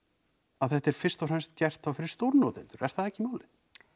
að þetta er fyrst og fremst gert fyrir stórnotendur er það ekki málið